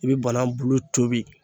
I bɛ bana bulu tobi.